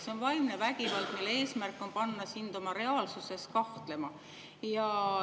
See on vaimne vägivald, mille eesmärk on panna sind reaalsuses kahtlema.